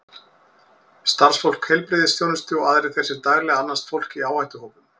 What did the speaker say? Starfsfólk heilbrigðisþjónustu og aðrir þeir sem daglega annast fólk í áhættuhópum.